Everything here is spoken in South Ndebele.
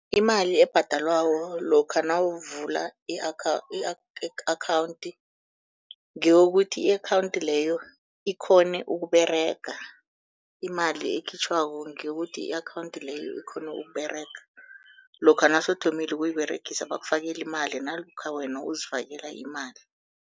Imali ebhadelwako lokha nawuvula i-akhawunthi ngeyokuthi i-akhawunthi leyo ikghone ukUberega, imali ekhitjhwako ngeyokuthi i-akhawunthi leyo ikghone ukUberega, lokha nasewuthomile ukuyiberegisa bakufakela imali nalokha wena uzifakela imali.